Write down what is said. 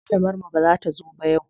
Malamar mu bata zo ba yau.